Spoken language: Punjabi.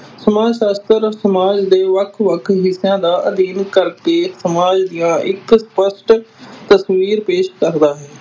ਸਮਾਜ ਸ਼ਾਸਤਰ ਸਮਾਜ ਦੇ ਵੱਖ-ਵੱਖ ਹਿੱਸਿਆਂ ਦਾ ਅਧਿਐਨ ਕਰਕੇ ਸਮਾਜ ਦੀਆਂ ਇਕ ਸਪੱਸ਼ਟ ਤਸਵੀਰ ਪੇਸ਼ ਕਰਦਾ ਹੈ।